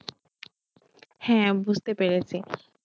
হ্যাঁ বুঝতে পেরেছি।